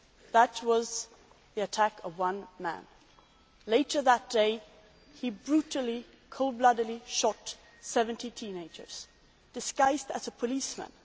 that was the attack of one man. Later that day he brutally, cold bloodedly shot 70 teenagers while disguised as a policeman.